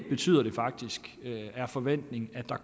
betyder faktisk det er forventningen at der